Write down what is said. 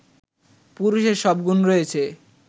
পুরুষের সব গুণ রয়েছে